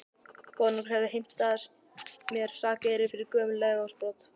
Konungur hefur heimtað af mér sakeyri fyrir gömul legorðsbrot.